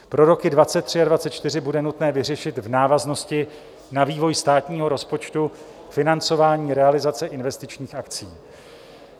Pro roky 2023 a 2024 bude nutné vyřešit v návaznosti na vývoj státního rozpočtu financování realizace investičních akcí.